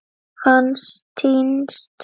Hann týnst?